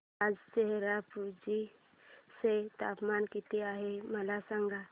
आज चेरापुंजी चे तापमान किती आहे मला सांगा